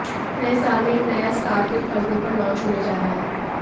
नए साल में एक नया स्टार किड परदे पर लॉन्च होने जा रहा है